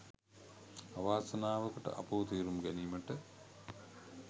අවාසනාවකට අපව තේරුම් ගැනීමට